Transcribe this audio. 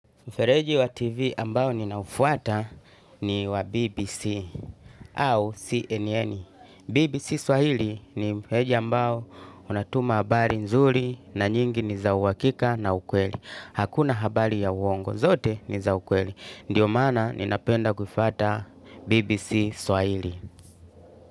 Mfereji wa tv ambao ninaufuata ni wa BBC au CNN. BBC Swahili ni mfereji ambao unatuma habari nzuri na nyingi ni za uhakika na ukweli. Hakuna habari ya uongo, zote ni za ukweli. Ndio maana ninapenda kufuata BBC Swahili.